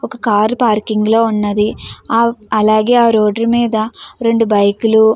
ఒక car parking లో వున్నది అలాగే ఆ రోడ్ మీద రెండు బైక్ లు --